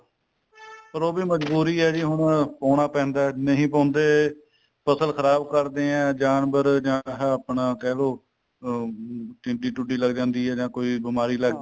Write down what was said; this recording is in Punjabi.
ਪਰ ਉਹ ਵੀ ਮਜਬੂਰੀ ਆ ਜੀ ਹੁਣ ਪਾਉਣਾ ਪੈਂਦਾ ਨਹੀਂ ਪਾਉਂਦੇ ਫਸਲ ਖਰਾਬ ਕਰਦੇ ਆਂ ਜਾਨਵਰ ਜਾਂ ਆਹ ਆਪਣਾ ਕਹਿਲੋ ਅਹ ਟਿੱਡੀ ਟੁਡੀ ਲੱਗ ਜਾਂਦੀ ਆ ਜਾਂ ਕੋਈ ਬਿਮਾਰੀ ਲੱਗ ਜਾਂਦੀ ਆ